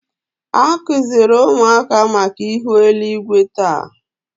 A kụziri ụmụaka maka ihu eluigwe taa